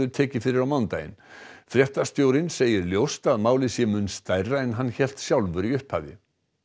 tekið fyrir á mánudaginn fréttastjórinn segir ljóst að málið sé mun stærra en hann hélt sjálfur í upphafi